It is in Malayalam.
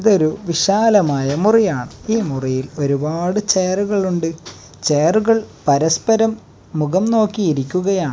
ഇതൊരു വിശാലമായ മുറിയാണ് ഈ മുറിയിൽ ഒരുപാട് ചെയറുകൾ ഉണ്ട് ചെയറുകൾ പരസ്പരം മുഖം നോക്കി ഇരിക്കുകയാ.